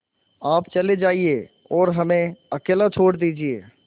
आप चले जाइए और हमें अकेला छोड़ दीजिए